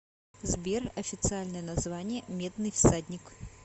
сбер официальное название медный всадник